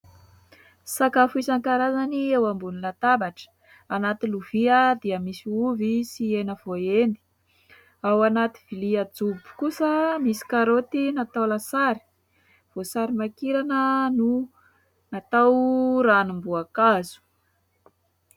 Sakafo isan-karazany eo ambony latabatra : anaty lovia dia misy ovy sy hena voaendy, ao anaty vilia jobo kosa misy karaoty natao lasary, voasarimakirana no natao ranomboakazo.